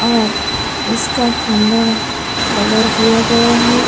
और इसका खंभा कलर किया गया है।